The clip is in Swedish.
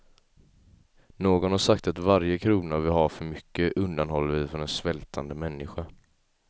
Någon har sagt att varje krona vi har för mycket undanhåller vi för en svältande människa.